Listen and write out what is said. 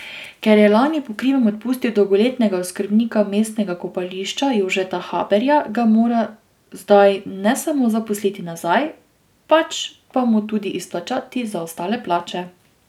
Ker je lani po krivem odpustil dolgoletnega oskrbnika mestnega kopališča Jožeta Haberja, ga mora zdaj ne samo zaposliti nazaj, pač pa mu tudi izplačati zaostale plače.